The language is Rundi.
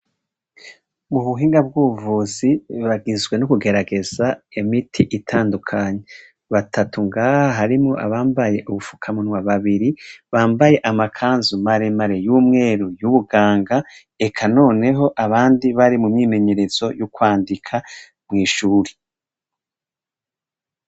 Ubuhinga bw'ubuvuzi buragizwe nukugerageza imiti itandukanye, batatu ngaha harimwo abambaye ubufuka munwa babiri, bambaye amakanzu maremare yumweru y'ubuganga eka noneho abandi bari mumyimenyerezo yo kwandika mw'ishuri.